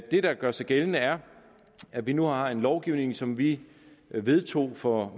det der gør sig gældende er at vi nu har en lovgivning som vi vedtog for